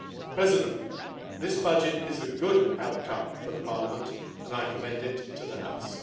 President, this budget is a good outcome for Parliament and I commend it to the house.